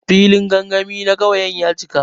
Filin gangami na ƙauye ya cika.